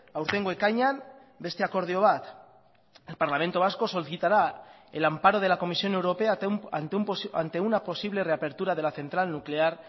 aurtengo ekainean beste akordio bat el parlamento vasco solicitará el amparo de la comisión europea ante una posible reapertura de la central nuclear